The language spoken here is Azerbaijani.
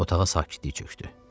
Otağa sakitlik çökdü.